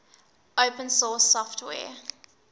open source software